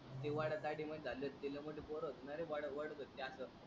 ते वाड्यात आडित मध्ये झेलेत तेल मोठे पोर असणारे वडवतेत त्याच.